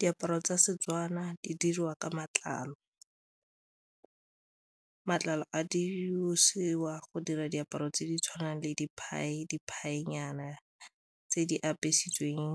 Diaparo tsa Setswana di diriwa ka matlalo, matlalo a di boswa go dira diaparo tse di tshwanang le di tse di apesitseweng